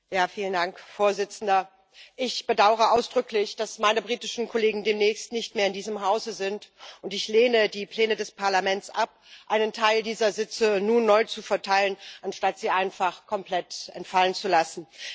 Herr Präsident! Ich bedaure ausdrücklich, dass meine britischen Kollegen demnächst nicht mehr in diesem Hause sind, und ich lehne die Pläne des Parlaments ab, einen Teil dieser Sitze nun neu zu verteilen, anstatt sie einfach komplett entfallen zu lassen.